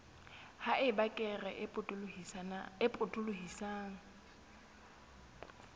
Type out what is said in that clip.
ha eba kere e potolohisang